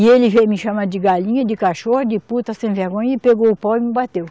E ele veio me chamar de galinha, de cachorra, de puta, sem vergonha, e pegou o pau e me bateu.